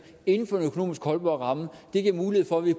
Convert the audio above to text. inden for en økonomisk holdbar ramme det giver mulighed for at vi